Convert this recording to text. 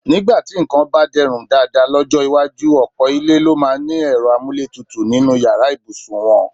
Nígbà tí nǹkan bá de̩rùn dáadáa ló̩jó̩ iwájú, ò̩pò̩ ilé ló máa ní e̩ro̩ amúlétutù nínú yàrá ìbùsùn wo̩̣n.